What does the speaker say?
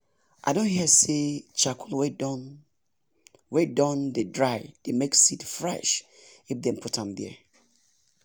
i don hear say charcoal wey don wey dem don dry dey make seed fresh if dem put m there